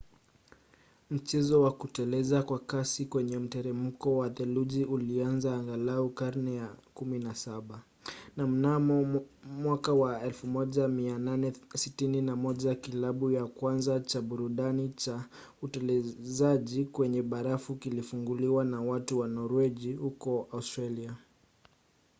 mchezo wa kuteleza kwa kasi kwenye mteremko wenye theluji ulianza angalau karne ya 17 na mnamo 1861 kilabu cha kwanza cha burudani cha utelezaji kwenye barafu kilifunguliwa na watu wa norwegi huko australia